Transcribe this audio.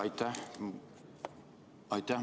Aitäh!